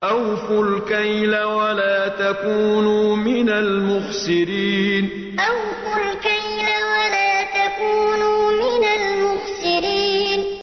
۞ أَوْفُوا الْكَيْلَ وَلَا تَكُونُوا مِنَ الْمُخْسِرِينَ ۞ أَوْفُوا الْكَيْلَ وَلَا تَكُونُوا مِنَ الْمُخْسِرِينَ